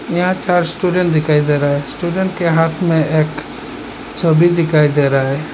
यहां चार स्टूडेंट दिखाई दे रहा है। स्टूडेंट के हाथ में एक छवि दिखाई दे रहा है।